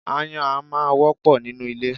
Aáyán a máa wọ́pọ̀ nínú ilé.